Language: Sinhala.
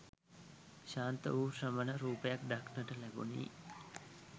ශාන්ත වූ ශ්‍රමණ රූපයක් දක්නට ලැබුණි.